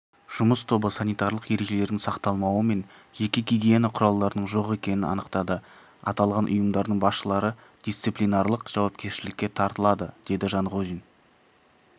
жұмыс тобы санитарлық ережелердің сақталмауы мен жеке гигиена құралдарының жоқ екенін анықтады аталған ұйымдардың басшылары дисциплинарлық жауапкершілікке тартылады деді жанғозин